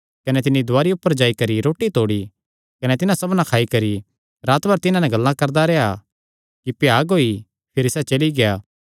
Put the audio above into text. कने तिन्नी दुवारी ऊपर जाई करी रोटी तोड़ी कने तिन्हां सबना खाई करी रात भर तिन्हां नैं गल्लां करदा रेह्आ कि भ्याग होई गेई भिरी सैह़ चली गेआ